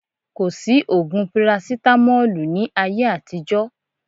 Kò sí ògùn parasitamọ́lù ní ayé àtijọ́